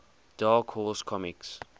dark horse comics